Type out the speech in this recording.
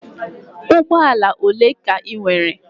Ụgbọ ala ole ka ị nwere?